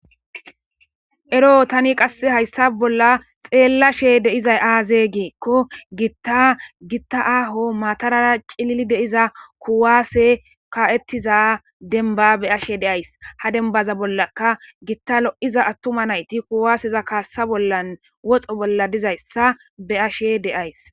Ero tan haysan bolla xelashe de'za aze giikon Gita aho matara cilil diza kuwasey ka'etiza demba beyashe de'ays. Ha dembanka Gitao'za atuma nayt kuwaseza kasa bolla woxo bolla dizaysa be'ashe de'ays.